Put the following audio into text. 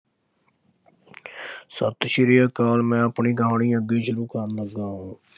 ਸਤਿ ਸ਼੍ਰੀ ਅਕਾਲ ਮੈਂ ਆਪਣੀ ਕਹਾਣੀ ਅੱਗੇ ਸ਼ੁਰੂ ਕਰਨ ਲੱਗਾ